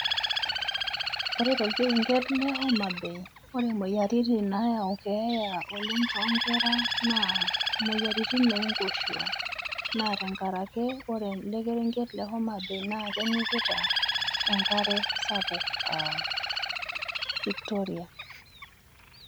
Ore tolkerenket le Homa Bay, ore moyiaritin nayau keeya oleng too nkerra naa imoyiaritin oo nkoshua. Naa tenkarake, ore ele kerenket le Homa Bay naa kenyikita enkare sapuk Victoria.